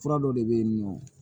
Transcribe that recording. Fura dɔ de bɛ yen nɔ